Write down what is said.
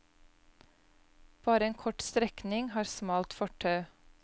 Bare en kort strekning har smalt fortau.